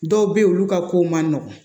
Dɔw bɛ yen olu ka kow man nɔgɔn